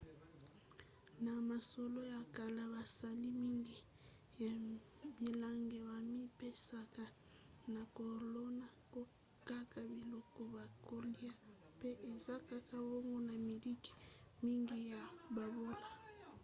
na masolo ya kala basali mingi ya bilanga bamipesaka na kolona kaka biloko bakolya mpe eza kaka bongo na mikili mingi ya bobola